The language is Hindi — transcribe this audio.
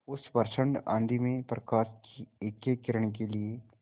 उस प्रचंड आँधी में प्रकाश की एकएक किरण के लिए